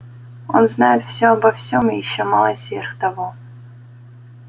он знает всё обо всем и ещё малость сверх того